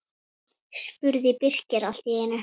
spurði Birkir allt í einu.